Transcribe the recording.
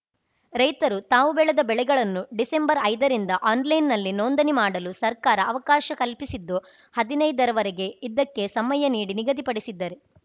ರೈತರು ತಾವು ಬೆಳೆದ ಬೆಳೆಗಳನ್ನು ಡಿಸೆಂಬರ್ ಐದರಿಂದ ಆನ್‌ಲೈನ್‌ನಲ್ಲಿ ನೋಂದಣಿ ಮಾಡಲು ಸರ್ಕಾರ ಅವಕಾಶ ಕಲ್ಪಿಸಿದ್ದು ಹದಿನೈದರ ವರೆಗೆ ಇದಕ್ಕೆ ಸಮಯ ನೀಡಿ ನಿಗದಿ ಪಡಿಸಿದೆ